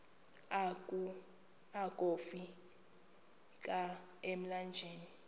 akofi ka emlanjeni